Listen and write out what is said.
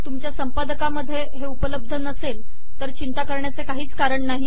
तुमच्या संपदकामध्ये हे उपलब्ध नसेल तर चिंता करण्याचे काहीच कारण नाही